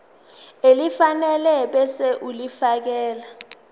elifanele ebese ulifiakela